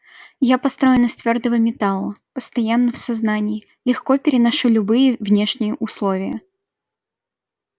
я построен из твёрдого металла постоянно в сознании легко переношу любые внешние условия